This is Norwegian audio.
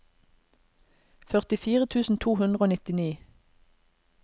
førtifire tusen to hundre og nittini